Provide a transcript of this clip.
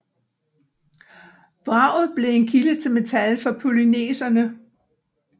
Vraget blev en kilde til metal for polyneserne